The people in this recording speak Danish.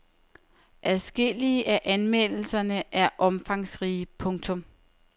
Adskillige af anmeldelserne er omfangsrige. punktum